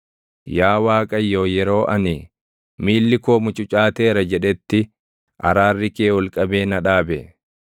Yaa Waaqayyo yeroo ani, “Miilli koo mucucaateera” jedhetti, araarri kee ol qabee na dhaabe.